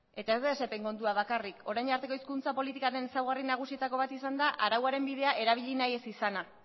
eta ez da esep en kontua bakarrik orain arteko hizkuntza politikoaren ezaugarri nagusietako bat izan da arauaren bidea erabili nahi ez izana